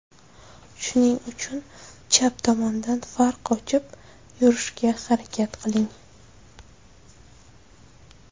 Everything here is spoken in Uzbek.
Shuning uchun chap tomondan farq ochib yurishga harakat qiling.